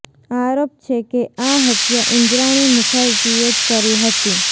આરોપ છે કે આ હત્યા ઈન્દ્રાણી મુખર્જીએ જ કરી હતી